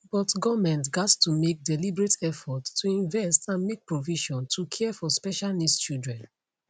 but goment gatz to make deliberate effort to invest and make provision to care for special needs children